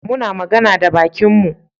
Muna magana da bakinmu.